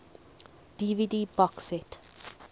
dvd box set